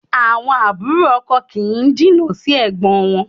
Àwọn àbúrò ọkọ kì í jìnnà sí ẹ̀gbọ́n wọn